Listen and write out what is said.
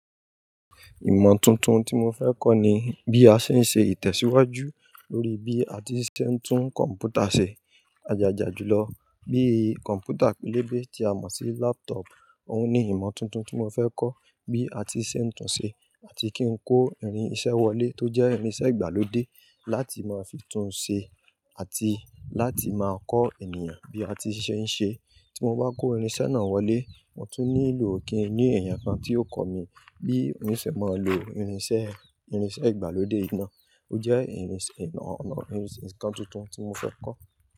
Ìmọ̀ tuntun tí mo fẹ́ kọ́ ni bí a ṣe ń ṣe ìtẹ̀síwájú lórí bí a ti ṣe ń tún kọ̀m̀pútà ṣe. A jà jà jùlọ bí kọ̀m̀pútà pélébé tí a mọ̀ sí laptop òun ni ìmọ̀ tuntun tí mo fẹ́ kọ́. Bí a ti ṣe ń tún ṣe àti kí n kó irinṣẹ́ wọlé tó jẹ́ irinṣẹ́ ìgbàlódé láti máa fi tún ṣe àti láti máa kọ́ ènìyàn bí a ti ṣe ń ṣe. Tí mo bá kó irinṣẹ́ náà wọlé, mo tún nílò kí ènìyàn kan tí ó kọ́ mi bí irinṣẹ́ máa ń lò irinṣẹ́, irinṣẹ́ ìgbàlódé náà. Ó jẹ́ irinṣẹ́ ìnà ẹ́, irinṣẹ́ ǹkan tuntun tí mo fẹ́ kọ́.